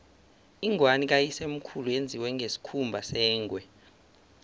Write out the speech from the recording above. ingwani kayisemkhulu yenziwe ngesikhumba sengwe